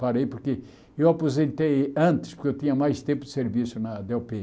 Parei porque eu aposentei antes, porque eu tinha mais tempo de serviço na dê ó pê.